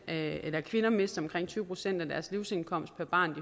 at at kvinder mister omkring tyve procent af deres livsindkomst per barn